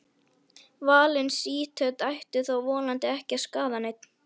Valin sítöt ættu þó vonandi ekki að skaða neinn.